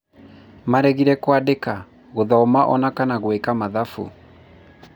maregire kwandĩka, gũthoma ona kana gwĩka mathabu